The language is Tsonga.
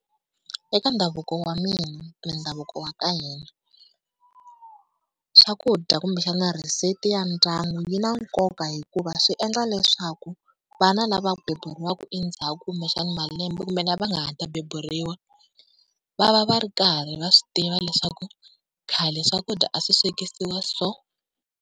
Eka ndhavuko wa mina, mindhavuko ya ka hina, swakudya kumbexana recipe ya ndyangu yi na nkoka, hikuva swi endla leswaku vana lava beburiwaka endzhaku kumbexana malembe kumbe lava nga ha ta beburiwa va va va ri karhi va swi tiva leswaku khale swakudya a swi swekisiwa so.